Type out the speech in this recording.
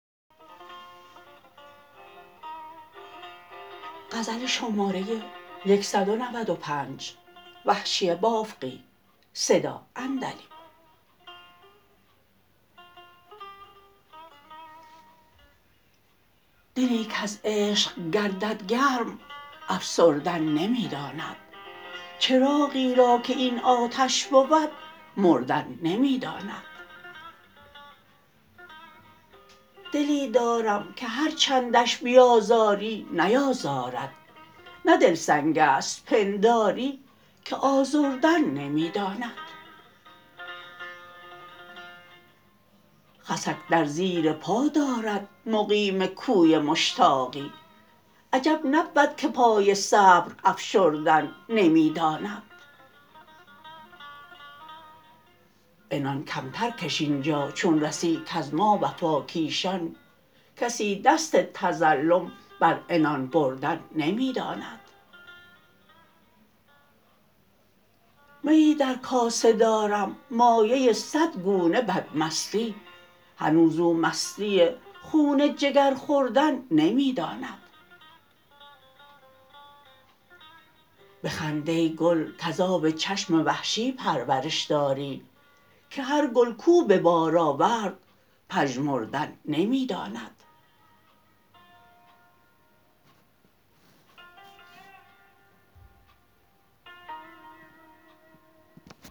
دلی کز عشق گردد گرم افسردن نمی داند چراغی را که این آتش بود مردن نمی داند دلی دارم که هر چندش بیازاری نیازارد نه دل سنگست پنداری که آزردن نمی داند خسک در زیر پا دارد مقیم کوی مشتاقی عجب نبود که پای صبر افشردن نمی داند عنان کمتر کش اینجا چون رسی کز ما وفاکیشان کسی دست تظلم بر عنان بردن نمی داند میی در کاسه دارم مایه سد گونه بد مستی هنوز او مستی خون جگر خوردن نمی داند بخند ای گل کز آب چشم وحشی پرورش داری که هر گل کو به بار آورد پژمردن نمی داند